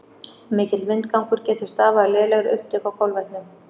Of mikill vindgangur getur stafað af lélegri upptöku á kolvetnum.